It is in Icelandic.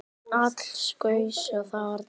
Alls gaus þarna